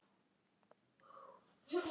Hefur ekki tekið afstöðu